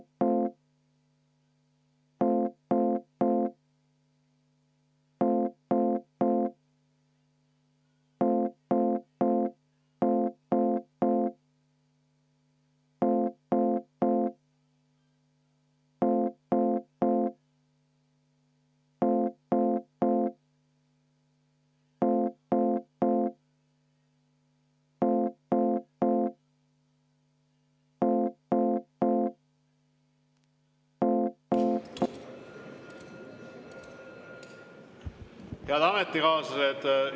Head ametikaaslased!